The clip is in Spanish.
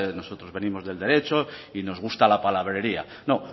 nosotros venimos del derecho y nos gusta la palabrería no